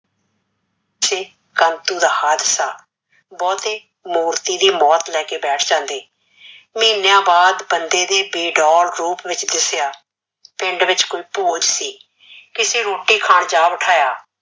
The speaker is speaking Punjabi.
ਸ਼੍ਰੀ ਕਾੰਤੁ ਦਾ ਹਾਦਸਾ ਬਹੁਤੇ ਮੂਰਤੀ ਦੀ ਮੋਤ ਲੈ ਕੇ ਬੈਠ ਜਾਂਦੇ ਮਹਿਨ੍ਯਾਂ ਬਾਦ ਬੰਦੇ ਦੇ ਬੇਡੋਲ ਰੂਪ ਵਿਚ ਦੇਸਇਆ ਪਿੰਡ ਵਿਚ ਕੋਈ ਭੂਤ ਸੀ ਫੇਰ ਅਸੀਂ ਰੋਟੀ ਖਾਨ ਜਾ ਬਿਠਾਯਾ